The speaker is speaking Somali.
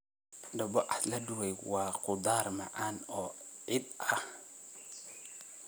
Dabocase la dubay waa khudaar macaan oo ciid ah.